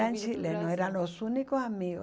Eram chilenos, eram os únicos amigos.